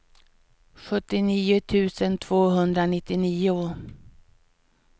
sjuttionio tusen tvåhundranittionio